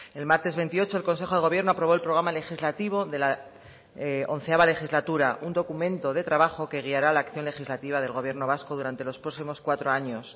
el martes veintiocho el consejo de gobierno aprobó el programa legislativo de la once legislatura un documento de trabajo que guiará la acción legislativa del gobierno vasco durante los próximos cuatro años